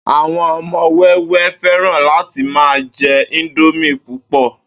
Àwo̩n o̩mo̩ wé̩wé̩ fé̩ràn láti máa je̩ íńdómì púpò̩